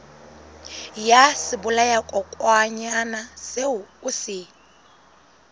ya sebolayakokwanyana seo o se